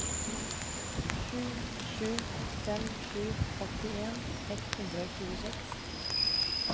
sju sju fem sju åttien ett hundre og tjueseks